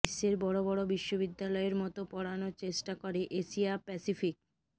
বিশ্বের বড় বড় বিশ্ববিদ্যালয়ের মতো পড়ানোর চেষ্টা করে এশিয়া প্যাসিফিক